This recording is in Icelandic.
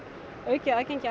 aukið aðgengi